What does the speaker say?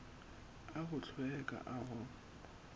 a go hlweka a go